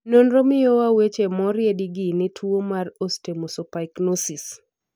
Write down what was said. nonro miyowa weche moriedi gi ne tuo mar Osteomesopyknosis.